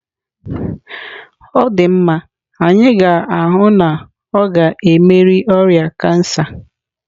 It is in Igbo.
Ọ dị mma, anyị ga-ahụ na ọ ga-emeri oria kansa.